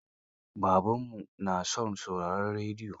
Babanmu na son sauraron rediyo.